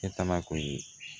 E taala kɔni